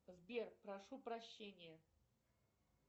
сбер прошу прощения